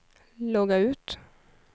logga ut